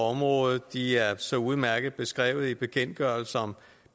området de er så udmærket beskrevet i bekendtgørelse om